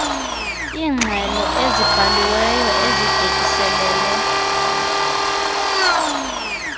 iingxelo ezibhaliweyo ezibhekiselele